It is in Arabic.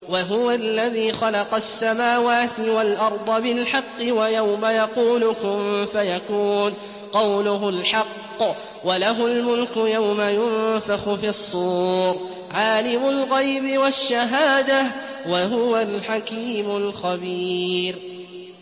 وَهُوَ الَّذِي خَلَقَ السَّمَاوَاتِ وَالْأَرْضَ بِالْحَقِّ ۖ وَيَوْمَ يَقُولُ كُن فَيَكُونُ ۚ قَوْلُهُ الْحَقُّ ۚ وَلَهُ الْمُلْكُ يَوْمَ يُنفَخُ فِي الصُّورِ ۚ عَالِمُ الْغَيْبِ وَالشَّهَادَةِ ۚ وَهُوَ الْحَكِيمُ الْخَبِيرُ